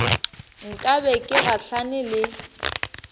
nka be ke gahlane le